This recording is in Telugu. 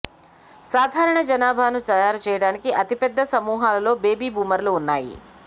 సాధారణ జనాభాను తయారు చేయడానికి అతిపెద్ద సమూహాలలో బేబీ బూమర్లు ఉన్నాయి